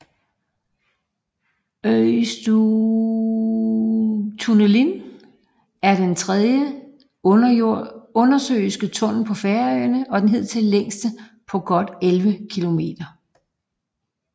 Eysturoyartunnilin er den tredje undersøiske tunnel på Færøerne og den hidtil længste på godt elleve kilometer